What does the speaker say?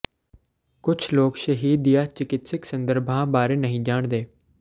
ਕੁਝ ਲੋਕ ਸ਼ਹਿਦ ਦੀਆਂ ਚਿਕਿਤਸਕ ਸੰਦਰਭਾਂ ਬਾਰੇ ਨਹੀਂ ਜਾਣਦੇ